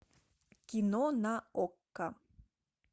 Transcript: кино на окко